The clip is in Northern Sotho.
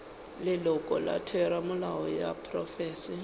leloko la theramelao ya profense